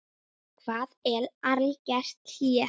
Hvað er algert hlé?